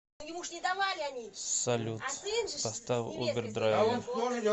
салют поставь убер драйвер